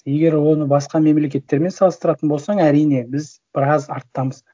егер оны басқа мемлекеттермен салыстыратын болсаң әрине біз біраз арттамыз